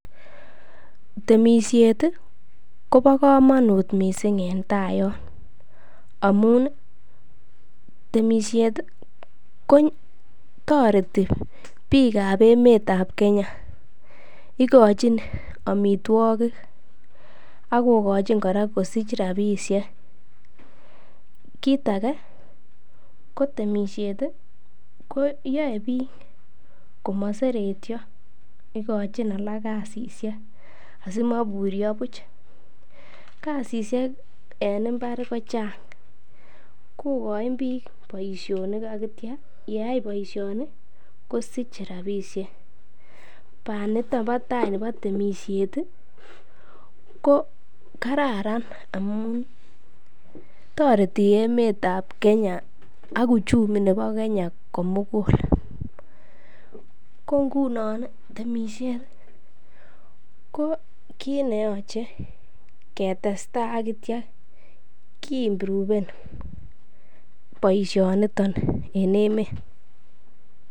Temisiet kobo komonut mising en tai yon amun temisiet kotoreti biikab emet ab Kenya igochin amitwogik ak kogochin kora kosich rabisiek. Kiit age ko temisiet ko yae biik komaseretyo. Igochin alak kasishek asimoiburyo buch. Kasishek en mbar kochang kogochin biik boisionik ak kityo ye yai boisioni kosiche rabisie. Banito bo tai nebo temisiet ko kararan amun toreti emet ab Kenya ak uchumi nebo Kenya komugul. Ko ngunon temisiet ko kiit ne yoche ketestai ak kityo kiimproven boisionito en emet.